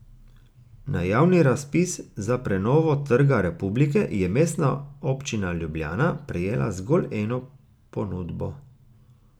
Na javni razpis za prenovo Trga republike je Mestna občina Ljubljana prejela zgolj eno ponudbo.